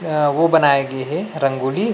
एहा वो बनाई गे हे रंगोली--